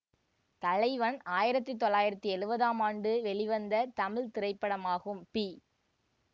தலைவன் ஆயிரத்தி தொள்ளாயிரத்தி எழுவதாம் ஆண்டு வெளிவந்த தமிழ் திரைப்படமாகும் பி